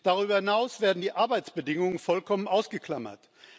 Darüber hinaus werden die Arbeitsbedingungen vollkommen ausgeklammert.